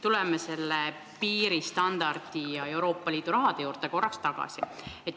Tuleme selle piiristandardi ja Euroopa Liidu raha juurde korraks tagasi.